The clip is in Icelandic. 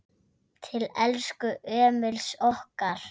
Til elsku Emils okkar.